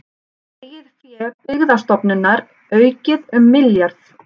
Eigið fé Byggðastofnunar aukið um milljarð